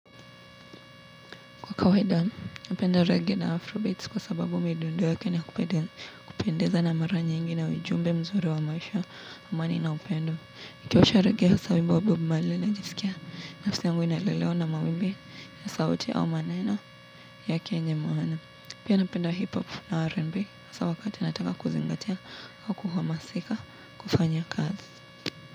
Kwa kawaida, napenda reggae na afro beats kwa sababu midundo yake ni ya kupendeza na mara nyingi ina ujumbe mzuri wa maisha amani na upendo. Nikiwasha reggae hasa wimbo wa Bob Marley najisikia nafsi yangu inalelewa na maombi ya sauti au maneno yake yenye maana. Pia napenda hip-hop na R&B hasa wakati nataka kuzingatia au kuhamasika kufanya kazi.